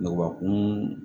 Ngɔbakun